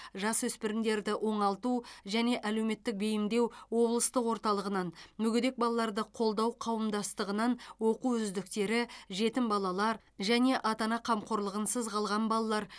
жасөспірімдерді оңалту және әлеуметтік бейімдеу облыстық орталығынан мүгедек балаларды қолдау қауымдастығынан оқу үздіктері жетім балалар және ата ана қамқорлығынсыз қалған балалар